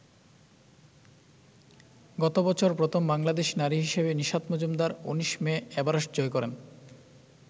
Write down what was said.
গত বছর প্রথম বাংলাদেশী নারী হিসেবে নিশাত মজুমদার ১৯ মে এভারেস্ট জয় করেন।